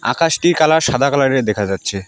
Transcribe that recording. আকাশটির colour সাদা কালারের দেখা যাচ্ছে।